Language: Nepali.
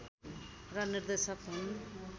र निर्देशक हुन्